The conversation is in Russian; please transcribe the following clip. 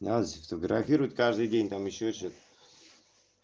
нас фотографируют каждый день там ещё что-то